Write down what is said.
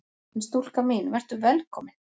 En stúlka mín: Vertu velkomin!